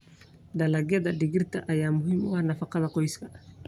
Dalagyada digirta ayaa muhiim u ah nafaqada qoyska.